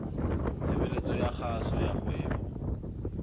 tshebeletso ya kgaso ya kgwebo